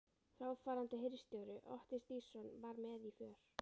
Fráfarandi hirðstjóri, Otti Stígsson, var með í för.